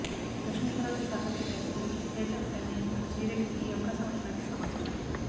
లక్ష్మి పార్వతి పాత్రకు దర్శకుడు తేజ ప్రమేయంతో శ్రీరెడ్డికి ఈ అవకాశం వచ్చినట్లు సమాచారం